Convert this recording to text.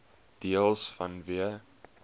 deels vanweë